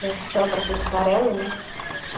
Já sobra aquele farelo, né?